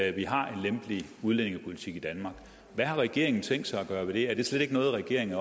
at vi har en lempelig udlændingepolitik i danmark hvad har regeringen tænkt sig at gøre ved det er det spørgsmål slet ikke noget regeringen